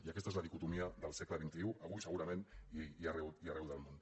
i aquesta és la dicotomia del segle xxi avui segurament i arreu del món